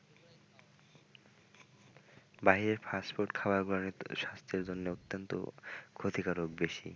ভাই fast food খাবার গুলো অনেক স্বাস্থ্যের জন্য অত্যন্ত ক্ষতিকারক।